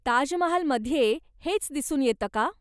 ताजमहालमध्ये हेच दिसून येतं का?